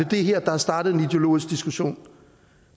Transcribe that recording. det her der har startet en ideologisk diskussion